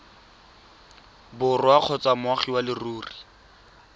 borwa kgotsa moagi wa leruri